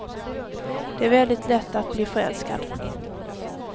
Det är väldigt lätt att bli förälskad.